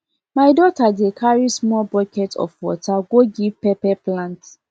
my daughter dey carry small bucket of water go give pepper plant